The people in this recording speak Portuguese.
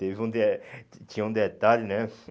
tive um de Tinha um detalhe, né?